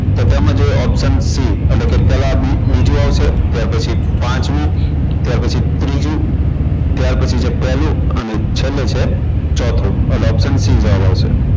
તો તેમાં છે option c એટલે કે પેલા બીજો આવશે ત્યાર પછી પાંચમો ત્યાર પછી ત્રીજો ત્યાર પછી છે પેલો અને છેલ્લે છે ચોથો એટલે option c જવાબ આવશે